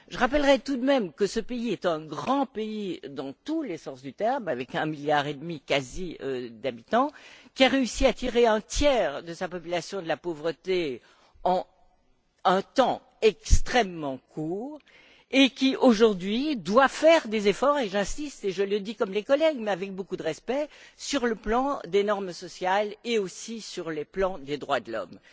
Je rappellerais tout de même que ce pays est un grand pays, dans tous les sens du terme, avec près d'un milliard et demi d'habitants, qui a réussi à tirer un tiers de sa population de la pauvreté en un temps extrêmement court et qui, aujourd'hui, doit faire des efforts et j'insiste, et je le dis comme les collègues, mais avec beaucoup de respect à la fois sur le plan des normes sociales et sur le plan des droits de l'homme.